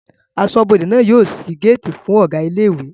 Aṣọ́bọdè náà yóò ṣí géètì fún Ọ̀gá ilé ìwé